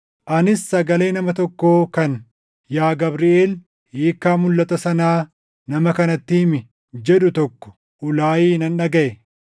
Anis sagalee nama tokkoo kan “Yaa Gabriʼeel, hiikkaa mulʼata sanaa nama kanatti himi” jedhu tokko Uulayi nan dhagaʼe.